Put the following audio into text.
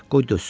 Qoy dözsün.